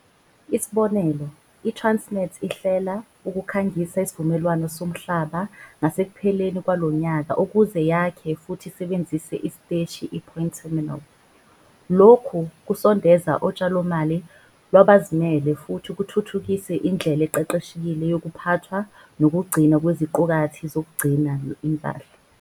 Isibonelo, iTransnet ihlela, ukukhangisa isivumelwano somhlaba ngasekupheleni kwalo nyaka ukuze yakhe futhi isebenzise isiteshi iPoint Terminal. Lokhu kuzosondeza utshalomali lwabazimele futhi kuthuthukise indlela eqeqeshekile yokuphathwa nokugcinwa kweziqukathi zokugcina impahla.